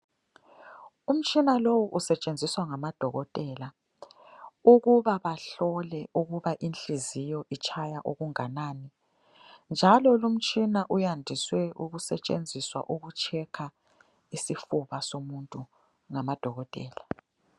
Umtshina lowu usetshenziswa ngamadokotela ukuba bahlole ukuba inhliziyo itshaya okungakanani njalo lumtshina uyandiswe ukusetshenziswa ukutshekha isifuba somuntu ngamadokotela.